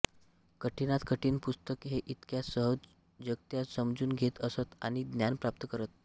कठीणात कठीण पुस्तक ते इतक्या सहजगत्या समजून घेत असत आणि ज्ञान प्राप्त करत